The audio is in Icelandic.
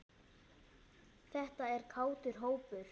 Þetta er kátur hópur.